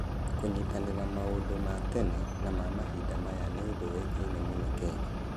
Kũnyitanĩra na maũndũ ma tene na ma mahinda maya nĩ ũndũ ũĩkaine mũno Kenya.